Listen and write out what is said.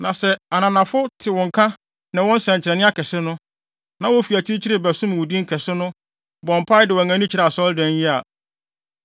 “Na sɛ ananafo te wo nka ne wo nsɛnkyerɛnne akɛse no, na wofi akyirikyiri bɛsom wo din kɛse no, bɔ mpae de wɔn ani kyerɛ Asɔredan yi a,